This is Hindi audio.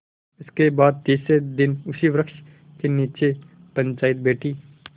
इसके बाद तीसरे दिन उसी वृक्ष के नीचे पंचायत बैठी